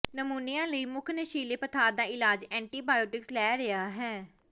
pneumonia ਲਈ ਮੁੱਖ ਨਸ਼ੀਲੇ ਪਦਾਰਥ ਦਾ ਇਲਾਜ ਐਂਟੀਬਾਇਓਟਿਕਸ ਲੈ ਰਿਹਾ ਹੈ